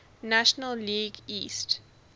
national league east